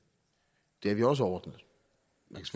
har vi også ordnet